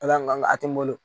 Ala ŋan a tɛ n bolo